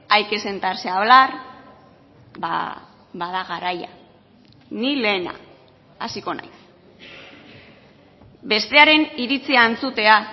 hay que sentarse hablar bada garaia ni lehena hasiko naiz bestearen iritzia entzutea